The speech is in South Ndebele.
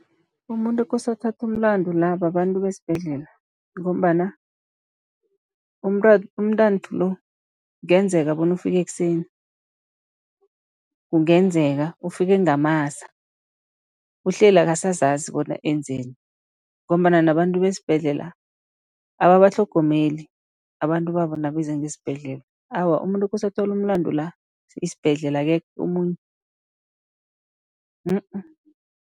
Umuntu okose athathe umlandu la babantu besibhedlela. Ngombana umntanthu lo kungenzeka bona ufike ekuseni, kungenzeka ufike ngamasa uhleli akasazazi bona enzeni, ngombana nabantu besibhedlela ababatlhogomeli abantu babo nabeza ngesibhedlela. Awa, umuntu okose athole umlandu la isibhedlela akekho omunye.